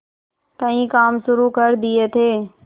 कई काम शुरू कर दिए थे